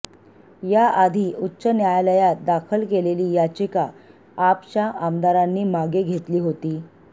याआधी उच्च न्यायालायात दाखल केलेली याचिका आपच्या आमदारांनी मागे घेतली होती